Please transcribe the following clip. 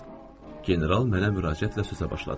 General mənə müraciətlə sözə başladı.